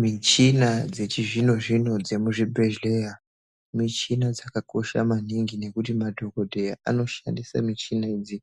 Michina dzechizvino-zvino dzemuzvibhedhleya michina dzakakosha maningi. Nekuti madhogodheya anoshandise michina idzi,